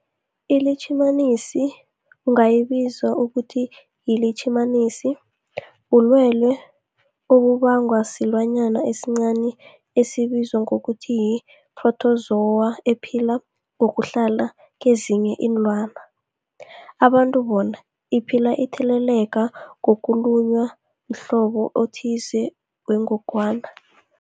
iLitjhimanisi ungayibiza uthiyilitjhimanisi, bulwelwe obubangwa silwanyana esincani esibizwa ngokuthiyi-phrotozowa ephila ngokuhlala kezinye iinlwana, abantu bona iphile itheleleka ngokulunywa mhlobo othize wengogwana.